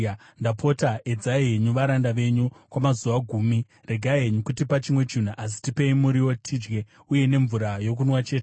“Ndapota edzai henyu varanda venyu kwamazuva gumi. Regai henyu kutipa chimwe chinhu asi tipei muriwo tidye uye nemvura yokunwa chete.